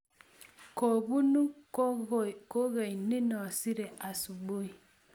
kobunuu kokoe nino siree asubui